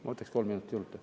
Ma võtaks kolm minutit juurde.